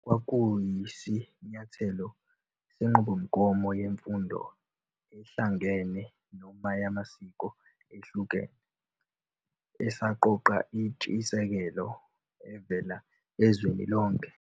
Kwakuyisinyathelo senqubomgomo yemfundo ehlangene, noma yamasiko ehlukene, esaqoqa intshisekelo evela ezweni lonke.